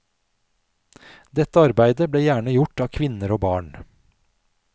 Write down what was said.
Dette arbeidet ble gjerne gjort av kvinner og barn.